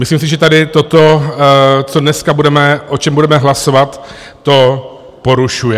Myslím si, že tady toto, co dneska budeme, o čem budeme hlasovat, to porušuje.